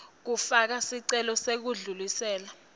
kufaka sicelo sekudlulisela